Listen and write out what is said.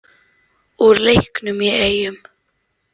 Úr leiknum í Eyjum.